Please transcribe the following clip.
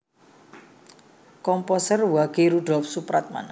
Komposer Wage Rudolf Supratman